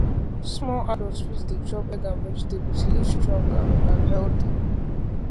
small adult fit dey chop egg and vegetable to live strong and and healthy